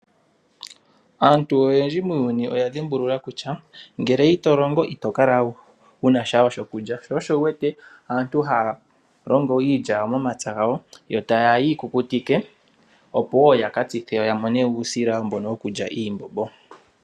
Aantu oyendji muuyuni oya dhimbulula kutya, ngele ito longo ito kala wu na sha wo shokulya. Sho osho wu wete aantu haya longo iilya yawo momapya gawo, yo taye yi kukutike, opo wo yaka tsithe ya mone mo uusila mbono wokulya iimbombo.